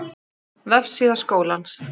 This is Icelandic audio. Vefsíða Skólans